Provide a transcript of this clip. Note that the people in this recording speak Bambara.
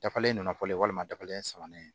Dafalen don fɔlen walima dafalen sabanan